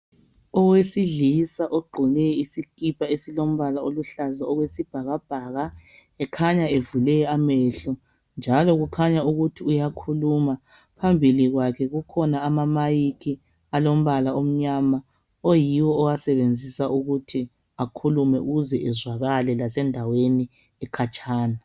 Owesilisa ogqoke isikhipha esiluhlaza okwesibhakabhaka ekhanya evule amehlo uyakhuluma. Phambili kwakhe kulamamayikhi alombala omnyama ayiwo awasebenzisa ukuthi akhulume ukuze azwakale endaweni ekhatshana.